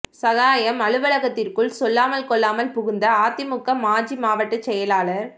சகாயம் அலுவலகத்திற்குள் சொல்லாமல் கொள்ளாமல் புகுந்த அதிமுக மாஜி மாவட்டச் செயலாளர்